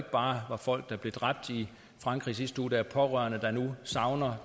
bare var folk der blev dræbt i frankrig i sidste uge der er pårørende der nu savner